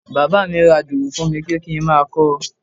Bàbá mi ra dùrù fún mi pé kí n máa kọ́ ọ.